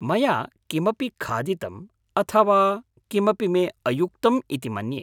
मया किमपि खादितम् अथवा किमपि मे अयुक्तम् इति मन्ये।